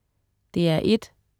DR1: